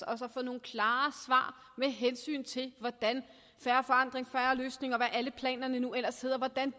os at få nogle klare svar med hensyn til hvordan fair forandring en fair løsning og hvad alle planerne nu ellers hedder